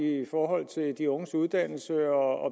i forhold til de unges uddannelse og